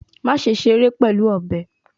Maṣe ṣere pẹlu ọbẹ